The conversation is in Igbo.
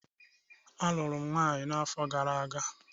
A lụrụ m nwaanyị n'afọ gara aga.